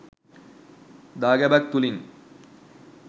දාගැබක් තුළිනි.